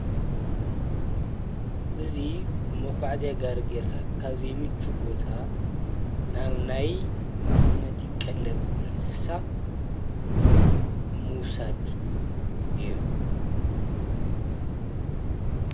እዙይ መጕዕ እዚይጋር ጌርካ ካብዘይ ይምች ቦታ ናብ ናይ መቐመቲ ይቀለብ እንስሳ ሙሳድ እዮም።